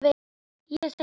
Ég segi allt gott.